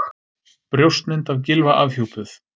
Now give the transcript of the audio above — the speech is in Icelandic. Brjóstmynd af Gylfa afhjúpuð